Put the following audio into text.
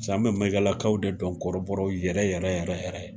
Paseke an bɛ Mɛyigalakaw de dɔn kɔrɔbɔrɔ yɛrɛ yɛrɛ yɛrɛ yɛrɛ ye